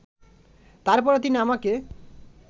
তার পরও তিনি আমাকে